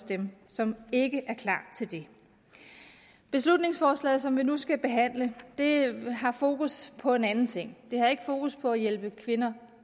dem som ikke er klar til det beslutningsforslaget som vi nu skal behandle har fokus på en anden ting det har ikke fokus på at hjælpe kvinder